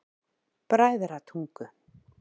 Bræðratungu